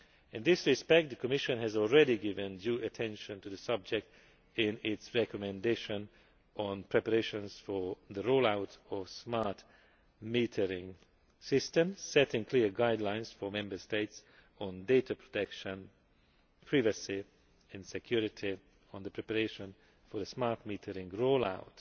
In this respect, the Commission has already given due attention to the subject in its Recommendation on preparations for the roll out of smart metering systems, setting clear guidelines for Member States on data protection, privacy and security on the preparation for the smart metering roll